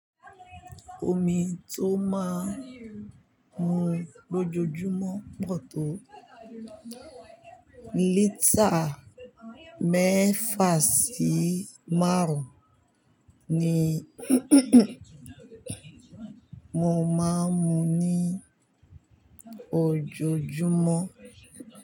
Omi tó máa ń mu lójoojúmọ́, mọ́tò lítà mẹ́fà sí márùn-ún ni mo máa ń mu ní ojoojúmọ́